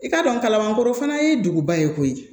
I k'a dɔn kalama ko fana ye duguba ye koyi